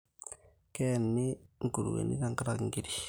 Keeni nkuruweni tenkaraki nkirik